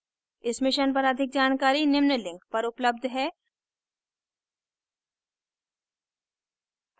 इस mission पर अधिक जानकारी निम्न लिंक पर उपलब्ध है